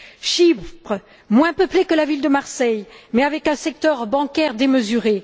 Chypre, moins peuplée que la ville de Marseille, mais dotée d'un secteur bancaire démesuré.